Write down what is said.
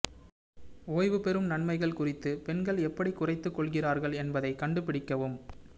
ஓய்வுபெறும் நன்மைகள் குறித்து பெண்கள் எப்படி குறைத்துக் கொள்கிறார்கள் என்பதைக் கண்டுபிடிக்கவும்